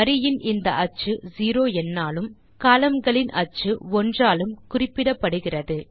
வரியின் இந்த அச்சு 0 எண்ணாலும் கோலம்ன் களின் அச்சு 1 ஆலும் குறிப்பிடப்படுகிறது